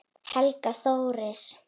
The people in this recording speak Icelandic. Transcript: Helga Þóris.